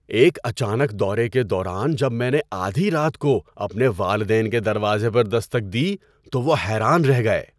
ایک اچانک دورے کے دوران جب میں نے آدھی رات کو اپنے والدین کے دروازے پر دستک دی تو وہ حیران رہ گئے۔